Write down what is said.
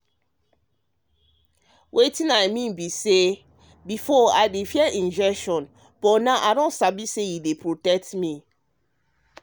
wetin i mean na say before i dey fear injection but now i sabi say e dey protect me.